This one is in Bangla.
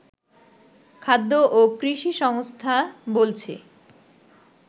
খাদ্য ও কৃষি সংস্থা বলছে